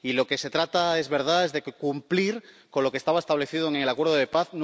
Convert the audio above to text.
Y de lo que se trata, es verdad, es de cumplir lo que estaba establecido en el acuerdo de paz.